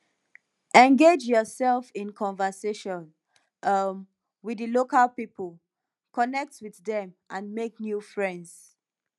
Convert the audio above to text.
engage yourself in conversation um with di local people connect with dem and make new friends